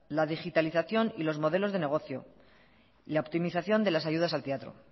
la digitalización y los modelos de negocio la optimización de las ayudas al teatro